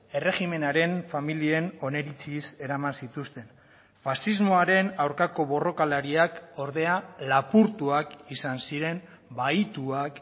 erregimenaren familien oniritziz eraman zituzten faxismoaren aurkako borrokalariak ordea lapurtuak izan ziren bahituak